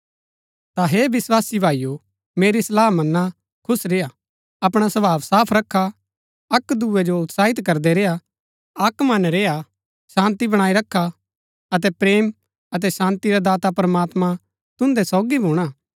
ता हे विस्वासी भाईओ मेरी सलाह मना खुश रेय्आ अपणा स्वभाव साफ रखा अक्क दूये जो उत्साहित करदै रेय्आ अक्क मत रेय्आ शान्ती बणाई रखा अतै प्रेम अतै शान्ती रा दाता प्रमात्मां तुन्दै सोगी भूणा